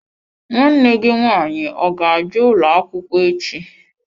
Nwanne gi nwanyi ọ ga-abia ụlọ akwukwo echi?